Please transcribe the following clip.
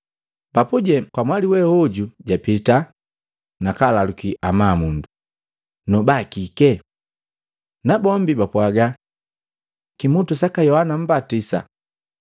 Papuje kamwali we oju japita, nakalalukii amabu, “Noba kike?” Nabombi bapwagaa. “Kimutu saka Yohana Mmbatisa.”